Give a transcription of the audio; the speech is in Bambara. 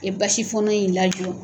I ye basi fɔɔnɔ in lajɔ.